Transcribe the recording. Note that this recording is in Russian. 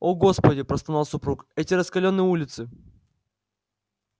о господи простонал супруг эти раскалённые улицы